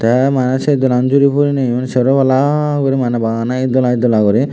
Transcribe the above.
te mane se doran juri puriney yo sero palla guri mane bana ed dola ed dola guri.